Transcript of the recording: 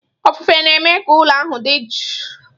Ofufe na-eme ka ụlọ ahụ dị jụụ.